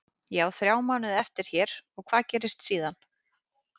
Ég á þrjá mánuði eftir hér og hvað gerist síðan?